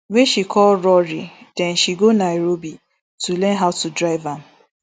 wey she call rory den she go nairobi to learn how to drive am